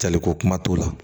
Jaliko kuma t'o la